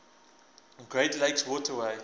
great lakes waterway